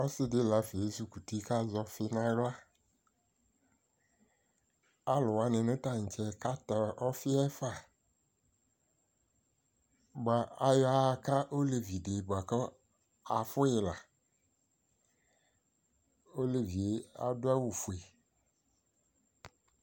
Ɔsɩdɩ lafa ezikuti kazɛ ɔfɩ n'aɣla Alʋwanɩ nʋ taŋtsɛ katɛ ɔfɩɛ fa; bʋa ayɔaaka olevidɩ bʋa k'afʋyɩ la, olevie adʋ awʋfue